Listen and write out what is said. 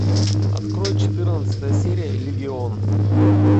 открой четырнадцатая серия легион